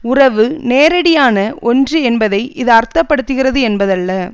உறவு நேரடியான ஒன்று என்பதை இது அர்த்த படுத்துகிறது என்பதல்ல